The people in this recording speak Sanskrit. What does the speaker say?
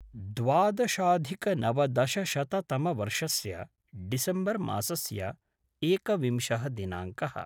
द्वदशाधिकनवदशशततमवर्षस्य डिसम्बर् मासस्य एकविंशः दिनाङ्कः